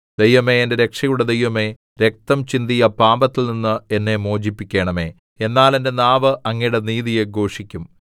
ദൈവമേ എന്റെ രക്ഷയുടെ ദൈവമേ രക്തം ചിന്തിയ പാപത്തിൽനിന്ന് എന്നെ മോചിപ്പിക്കണമേ എന്നാൽ എന്റെ നാവ് അങ്ങയുടെ നീതിയെ ഘോഷിക്കും